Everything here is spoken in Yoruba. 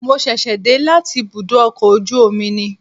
Mo ṣẹ̀ṣẹ̀ dé láti ibùdó ọkọ̀ ojú omi ni